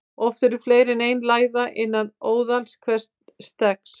Oft eru fleiri en ein læða innan óðals hvers steggs.